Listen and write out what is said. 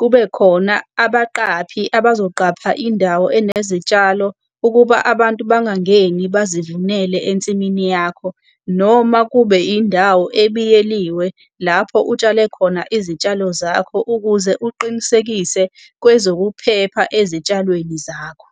kube khona abaqaphi abazoqapha indawo anezitshalo ukuba abantu bangangeni bazivunele ensimini yakho. Noma kube indawo ebiyeliwe lapho utshale khona izitshalo zakho ukuze uqinisekise kwezokuphepha ezitshalweni zakho.